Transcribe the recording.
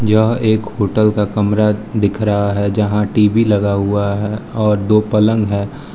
यह एक होटल का कमरा दिख रहा है जहां टी_वी लगा हुआ है और दो पलंग है।